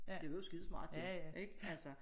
Det var jo skide smart jo ik altså